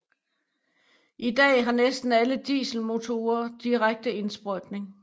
I dag har næsten alle dieselmotorer direkte indsprøjtning